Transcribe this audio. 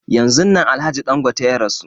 Yanzun nan alhaji Dangote ya rasu